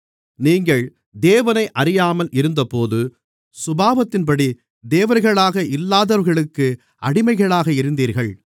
நீங்கள் தேவனை அறியாமல் இருந்தபோது சுபாவத்தின்படி தேவர்களாக இல்லாதவர்களுக்கு அடிமைகளாக இருந்தீர்கள்